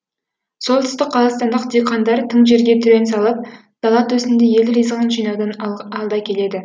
солтүстік қазақстандық диқандар тың жерге түрен салып дала төсінде ел ризығын жинаудан алда келеді